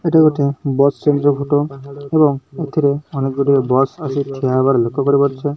ଏଇଟା ଗୋଟିଏ bus stand photo ଏବଂ ଏଥିରେ ଅନେକ ଗୁଡ଼ିଏ ବସ ଆସି ଠିଆ ହେବାର ଲକ୍ଷ କରିପାରୁଛୁ।